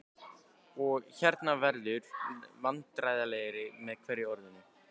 og- hérna- verður vandræðalegri með hverju orðinu.